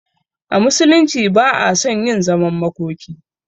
A musulunci ba a son yin zaman makoki